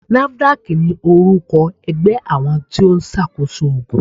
NAFDAC ni orúkọ ẹgbẹ́ àwọn tóun ṣá koso ògùn.